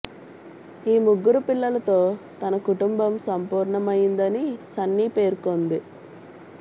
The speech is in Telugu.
ఈ ముగ్గురు పిల్లలతో తన కుటుంబం సంపూర్ణం అయ్యిందని సన్నీ పేర్కొంది